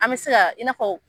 An bɛ se ka i n'a fɔ